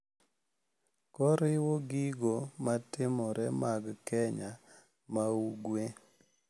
Koriwo gigo matimore mag keny ma ugwe,